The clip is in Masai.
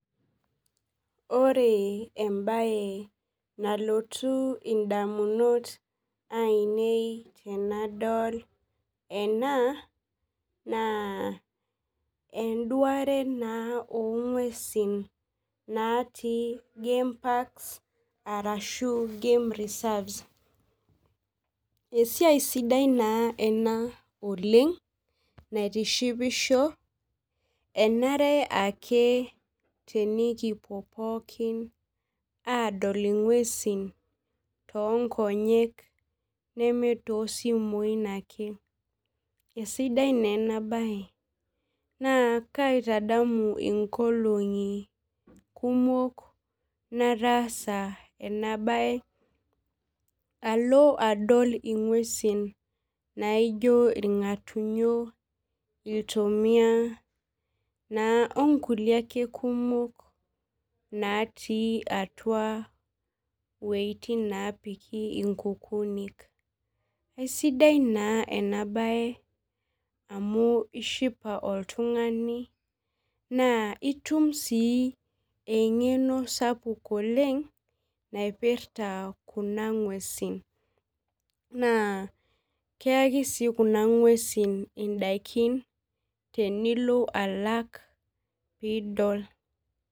Ore embae nalotu ndamunot ainei tanadol ena na enduare onguesin natii gameparks ashu game reserves esiai sidai ena oleng naitishipisho enare ake enkipuo pooki adol ngwesi tonkonyek namaa tosimui ake esidia na enabae nakaitadamu nkolongi kumok nataasa enabae alo adol ngwesi naijo irngatunyo iltomia natii atua wuejitin napiki inkukunik aisidai na inabae amu itiship oltungani itum si engeno sapuk itobirta kuna ngwesi na keyaki si kuna ngwesi indakin pilo alak pidol.